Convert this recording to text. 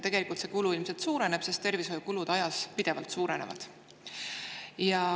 Tegelikult see kulu ilmselt suureneb, sest tervishoiukulud ajas pidevalt suurenevad.